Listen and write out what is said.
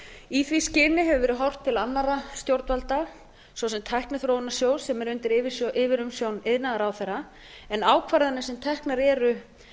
í því skyni hefur verið horft til annarra stjórnvalda svo sem tækniþróunarsjóðs sem er undir yfirumsjón iðnaðarráðherra en ákvarðanir sem teknar eru